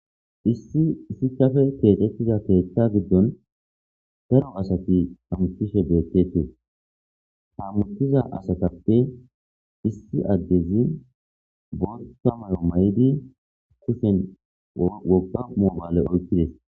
Issi issichafe keexetiza keeththa giddon daro asati hamukishe beetketie hammutiza asatappe issi addezi botta mayo may'di kushen wogga momale oykkides